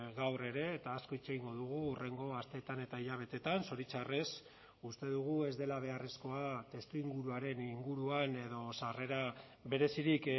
gaur ere eta asko hitz egingo dugu hurrengo asteetan eta hilabeteetan zoritxarrez uste dugu ez dela beharrezkoa testuinguruaren inguruan edo sarrera berezirik